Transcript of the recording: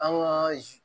An ka